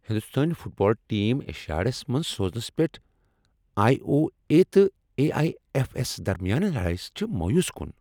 ہنٛدوستٲنۍ football team Asiads منٛز سوزنس پیٹھ آٮٔی۔ او۔ اے۔ تہٕ اے۔ آٮٔی۔ ایف۔ ایف ہس درمِیان لڈایہِ سۭتۍ چھِ مایوس كُن۔